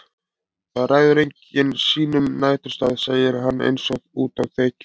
Það ræður enginn sínum næturstað, segir hann einsog útá þekju.